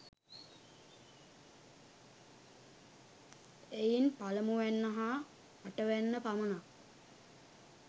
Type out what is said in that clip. එයින් පළමුවැන්න හා අටවැන්න පමණක්